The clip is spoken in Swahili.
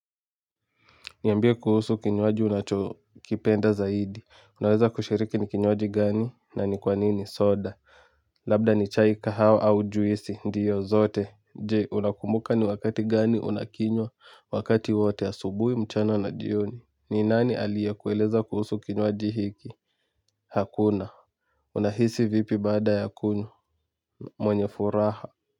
Niambie kuhusu kinywaji unacho kipenda zaidi. Unaweza kushiriki ni kinywaji gani na ni kwanini soda. Labda ni chai kahawa au juisi. Ndiyo zote. Je unakumbuka ni wakati gani unakinywa wakati wote asubuhi mchana na jioni. Ni nani alie kueleza kuhusu kinywaji hiki. Hakuna. Unahisi vipi bada ya kunywa. Mwenye furaha.